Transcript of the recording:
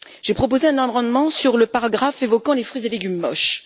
J'ai proposé un amendement sur le paragraphe évoquant les fruits et légumes moches.